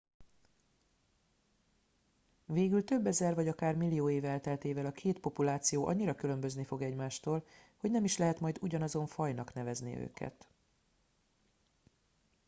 végül több ezer vagy akár millió év elteltével a két populáció annyira különbözni fog egymástól hogy nem is lehet majd ugyanazon fajnak nevezni őket